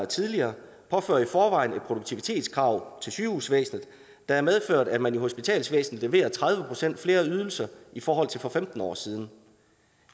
tidligere påfører i forvejen et produktivitetskrav til sygehusvæsenet der har medført at man i hospitalsvæsenet leverer tredive procent flere ydelser i forhold til for femten år siden